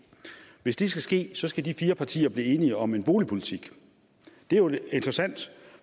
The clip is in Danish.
hvis det skal ske skal de fire partier blive enige om en boligpolitik det er jo interessant